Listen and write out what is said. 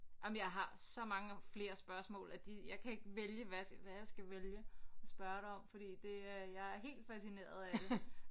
Jamen jeg har så mange flere spørgsmål at de jeg kan ikke vælge hvad jeg hvad jeg skal vælge at spørge dig om fordi det er jeg er helt fascineret af det